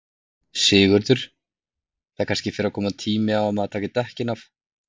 Sigurður: Það kannski fer að koma tími á að maður taki dekkin af?